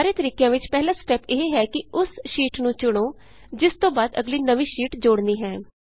ਸਾਰੇ ਤਰੀਕਿਆਂ ਵਿਚ ਪਹਿਲਾ ਸਟੈਪ ਇਹ ਹੈ ਕਿ ਉਸ ਸ਼ੀਟ ਨੂੰ ਚੁਣੋ ਜਿਸ ਤੋਂ ਬਾਅਦ ਅਗਲੀ ਨਵੀਂ ਸ਼ੀਟ ਜੋੜਨੀ ਹੈ